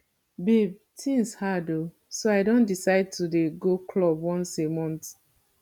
babe things hard oo so i don decide to dey go club once a month